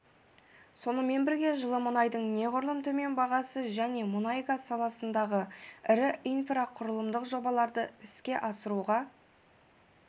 сонымен бірге жылы мұнайдың неғұрлым төмен бағасы және мұнай-газ саласындағы ірі инфрақұрылымдық жобаларды ісе асыруға